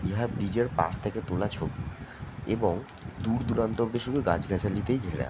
ইহার নিজের পাশ থাকে তোলা ছবি এবং দুরদুরান্ত অব্দি শুধু গাছ গাছালিতে ঘেরা ।